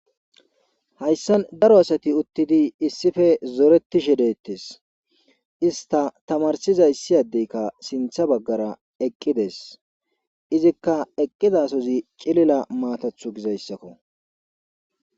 Hayssan daro asati uttidi issippe zoreti shidettes ista tamarsizayssiyadeykka sintha baggara eqqides izikka eqqidasozi cilila maatathu gizayssakko.